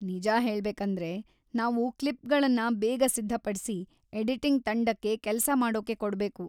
ನಿಜ ಹೇಳ್ಬೇಕಂದ್ರೆ, ನಾವು ಕ್ಲಿಪ್‌ಗಳನ್ನ ಬೇಗ ಸಿದ್ಧಪಡ್ಸಿ ಎಡಿಟಿಂಗ್ ತಂಡಕ್ಕೆ ಕೆಲಸ ಮಾಡೋಕೆ ಕೊಡ್ಬೇಕು.